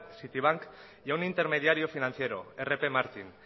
citibank y a un intermediario financiero rp martin